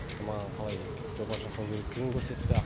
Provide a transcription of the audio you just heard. маған қалай жоба жасау керектігін көрсетті